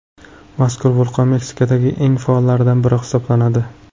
Mazkur vulqon Meksikadagi eng faollaridan biri hisoblanadi.